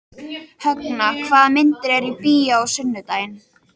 Högna, hvaða myndir eru í bíó á sunnudaginn?